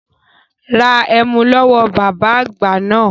Ra ẹmu lọ́wọ́ bàbá àgbà náà